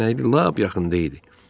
Dəyənəkli lap yaxında idi.